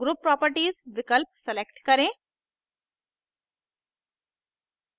group properties विकल्प select करें